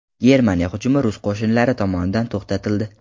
Germaniya hujumi rus qo‘shinlari tomonidan to‘xtatildi.